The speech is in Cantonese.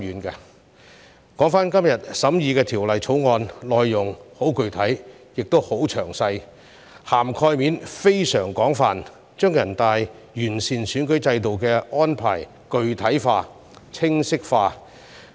說回今天審議的《條例草案》，內容十分具體和詳細，涵蓋面非常廣泛，將全國人大完善選舉制度的安排具體化和清晰化。